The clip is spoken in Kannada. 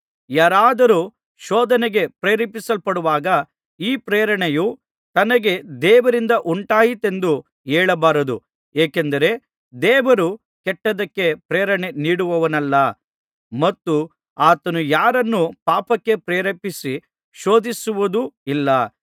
ಯಾರಾದರೂ ಶೋಧನೆಗೆ ಪ್ರೇರೇಪಿಸಲ್ಪಡುವಾಗ ಈ ಪ್ರೇರಣೆಯು ತನಗೆ ದೇವರಿಂದ ಉಂಟಾಯಿತೆಂದು ಹೇಳಬಾರದು ಏಕೆಂದರೆ ದೇವರು ಕೆಟ್ಟದ್ದಕ್ಕೆ ಪ್ರೇರಣೆ ನೀಡುವವನಲ್ಲ ಮತ್ತು ಆತನು ಯಾರನ್ನೂ ಪಾಪಕ್ಕೆ ಪ್ರೇರೇಪಿಸಿ ಶೋಧಿಸುವುದೂ ಇಲ್ಲ